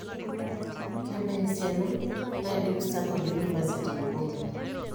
Kebaa esiana naidim starndard university aibung'a?